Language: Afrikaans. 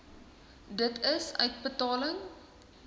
d i uitbetaling